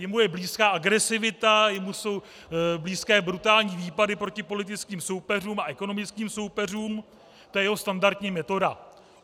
Jemu je blízká agresivita, jemu jsou blízké brutální výpady proti politickým soupeřům a ekonomickým soupeřům, to je jeho standardní metoda.